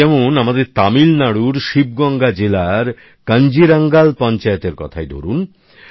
এই যেমন আমাদের তামিল নাড়ুর শিবগঙ্গা জেলার কাঞ্জিরঙ্গাল পঞ্চায়েতের কথাই ধরুন